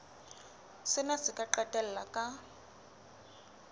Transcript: sena se ka qetella ka